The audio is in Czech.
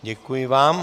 Děkuji vám.